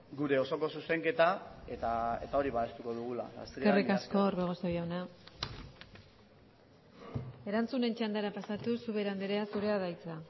gure osoko zuzenketa eta hori babestuko dugula eskerrik asko orbegozo jauna erantzunen txandara pasatuz ubera andrea zurea da hitza